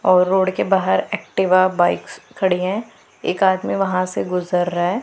और रोड के बाहर एक्टिवा बाइक्स खड़ी हैं एक आदमी वहां से गुजर रहा है।